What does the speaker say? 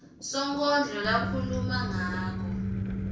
sonkondlo lakhuluma ngako